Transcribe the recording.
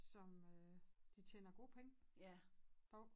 Som øh de tjener gode penge på